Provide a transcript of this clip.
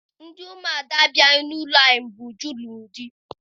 Ndị ụmụada abịaghị n'ụlọ anyị mgbe Uju lụrụ di